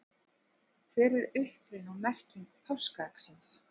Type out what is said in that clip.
hver er uppruni og merking páskaeggsins